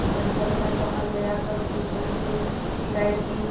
पर जब न सहा गया तब जुम्मन से शिकायत की